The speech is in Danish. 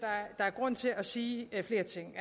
der er grund til at sige flere ting